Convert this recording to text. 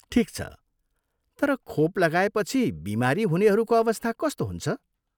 ठिक छ, तर खोप लगाएपछि बिमारी हुनेहरूको अवस्था कस्तो हुन्छ?